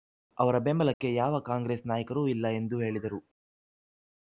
ಅವರ ಬೆಂಬಲಕ್ಕೆ ಯಾವ ಕಾಂಗ್ರೆಸ್ ನಾಯಕರೂ ಇಲ್ಲ ಎಂದು ಹೇಳಿದರು